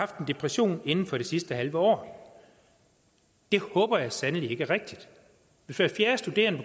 depression inden for det sidste halve år det håber jeg sandelig ikke er rigtigt hvis hver fjerde studerende